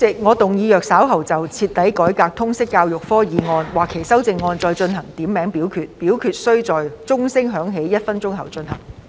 主席，我動議若稍後就"徹底改革通識教育科"所提出的議案或其修正案進行點名表決，表決須在鐘聲響起1分鐘後進行。